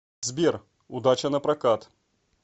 сбер удача напрокат